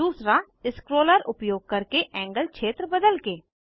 दूसरा स्क्रोलर उपयोग करके एंगल क्षेत्र बदलके